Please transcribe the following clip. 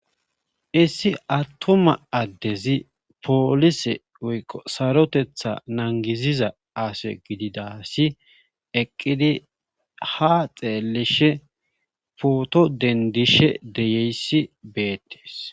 Issi attoma addezi poolise woyqo sarotetha nangiziza ase gididasi eqqidi ha xeellishe pooto dendishe deyeyssi beettees